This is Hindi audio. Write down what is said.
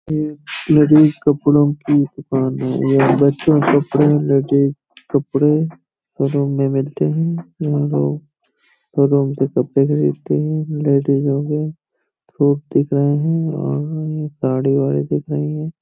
ये लेडिस कपड़ों की दुकान है। ये बच्चों के कपड़े लेडिस कपड़े शोरूम में मिलते हैं। यहाँ लोग शोरूम से कपड़े खरीदते हैं। लेडिज लोग दिख रहे हैं साड़ी वाड़ी दिख रही है।